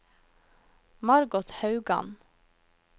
Margot Haugan